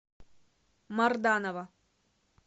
марданова